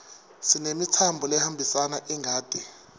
sinemitsambo lehambisa ingati